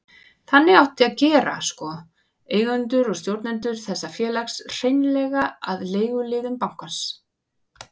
Þannig átti að gera sko, eigendur og stjórnendur þessa félags, hreinlega að leiguliðum bankans.